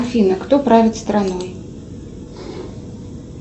афина кто правит страной